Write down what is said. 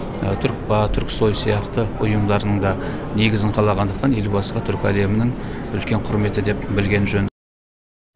түркпа түрксой сияқты ұйымдардың да негізін қалағандықтан елбасыға түркі әлемінің үлкен құрметі деп білген жөн